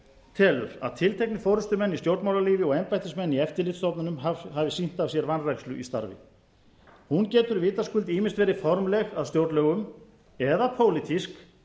telur að tilteknir forustumenn í stjórnmálalífi og embættismenn í eftirlitsstofnunum hafi sýnt af sér vanrækslu í starfi hún getur vitaskuld ýmist verið formleg að stjórnlögum eða pólitísk